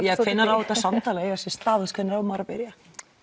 á þetta samtal að eiga sér stað hvenær á maður að byrja